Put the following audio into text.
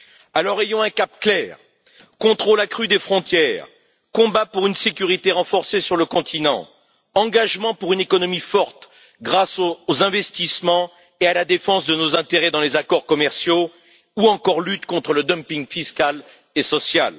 Alors, ayons un cap clair contrôle accru des frontières, combat pour une sécurité renforcée sur le continent, engagement pour une économie forte grâce aux investissements et à la défense de nos intérêts dans les accords commerciaux ou encore lutte contre le dumping fiscal et social.